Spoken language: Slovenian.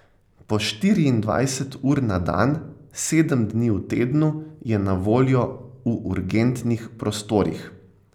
Po štiriindvajset ur na dan, sedem dni v tednu je na voljo v urgentnih prostorih.